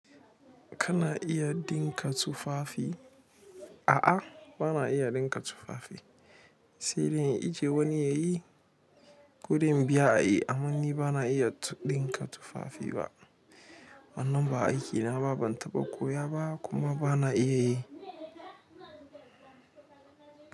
Kana iya ɗinka tufafi? A'a, bama iya ɗinka tufafi. Sai dai inje wani yayi, ko dai in biya ayi, amma ni ban iya ɗinka tufafi ba. Wannan ba aikina ba, ban taɓa koya ba kuma bana iya yi.